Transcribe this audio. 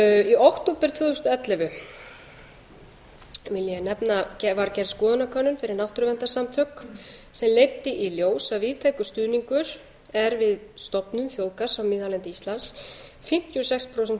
í október tvö þúsund og ellefu vil ég nefna var gerð skoðanakönnun fyrir náttúruverndarsamtök sem leiddi í ljós að víðtækur stuðningur er við stofnun þjóðgarðs á miðhálendi íslands fimmtíu og sex prósent